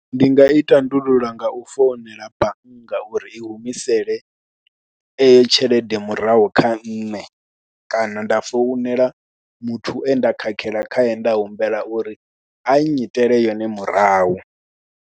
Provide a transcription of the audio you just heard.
Ndi nga i tandulula nga u founela bannga uri i humisele eyo tshelede murahu kha nṋe kana nda founela muthu e nda khakhela khae nda humbela uri a nnyitele yone murahu.